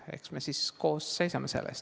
Eks me koos seisame selle eest.